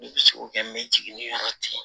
Ne bɛ se k'o kɛ n bɛ jigin ni yɔrɔ cɛ